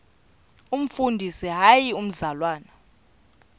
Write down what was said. umfundisi hayi mzalwana